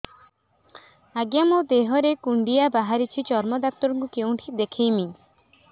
ଆଜ୍ଞା ମୋ ଦେହ ରେ କୁଣ୍ଡିଆ ବାହାରିଛି ଚର୍ମ ଡାକ୍ତର ଙ୍କୁ କେଉଁଠି ଦେଖେଇମି